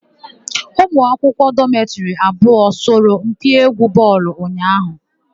Ụmụ akwụkwọ dọmetịrị abụọ sọrọ mpi égwú bọọlụ ụnyaahụ.